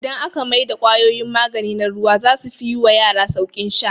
Idan aka mai da kwayoyin magani na ruwa zasu fi yi wa yara sauƙin sha